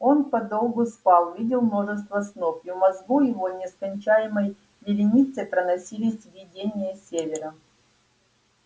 он подолгу спал видел множество снов и в мозгу его нескончаемой вереницей проносились видения севера